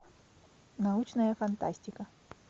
научная фантастика